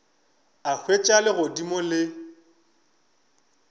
a hwetša legodimo le le